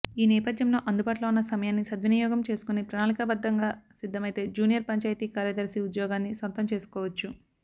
ఈ నేపథ్యంలో అందుబాటులో ఉన్న సమయాన్ని సద్వినియోగం చేసుకుని ప్రణాళికాబద్ధంగా సిద్ధమైతే జూనియర్ పంచాయతీ కార్యదర్శి ఉద్యోగాన్ని సొంతం చేసుకోవచ్చు